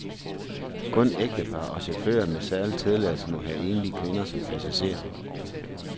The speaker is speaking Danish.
Kun ægtepar og chauffører med særlig tilladelse må have enlige kvinder som passagerer.